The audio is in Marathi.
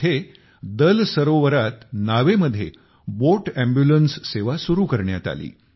इथे दल सरोवरात नावेमध्ये बोट अॅम्ब्युलन्स सेवा सुरु करण्यात आली